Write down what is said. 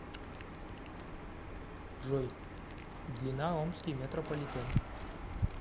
джой длина омский метрополитен